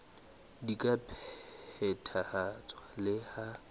di ka phethahatswa le ha